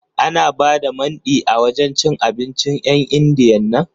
Ana ba da Mandi a wajen cin abincin 'yan Indiyan nan?